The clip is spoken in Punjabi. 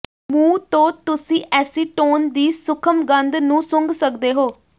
ਮੂੰਹ ਤੋਂ ਤੁਸੀਂ ਐਸੀਟੋਨ ਦੀ ਸੂਖਮ ਗੰਧ ਨੂੰ ਸੁੰਘ ਸਕਦੇ ਹੋ